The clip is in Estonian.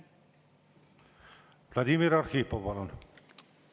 Vladimir Arhipov, palun!